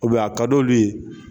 a ka di olu ye